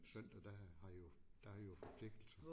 Søndag der har jo der jo forpligtelse